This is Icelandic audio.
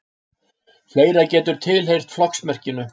Fleira getur tilheyrt flokksmerkinu.